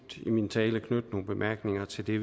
i min tale knytte nogle bemærkninger til det